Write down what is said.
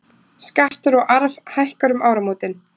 Skattur á arf hækkar um áramótin